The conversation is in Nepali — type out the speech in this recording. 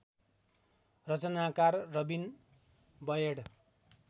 रचनाकार रबिन बयड